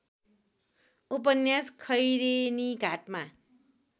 उपन्यास खैरेनीघाटमा